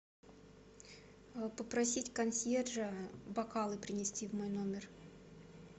попросить консьержа бокалы принести в мой номер